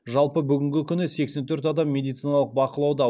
жалпы бүгінгі күні сексен төрт адам медициналық бақылауда